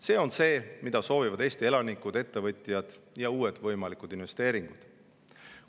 See on see, mida soovivad Eesti elanikud, ettevõtjad ja uued võimalikud.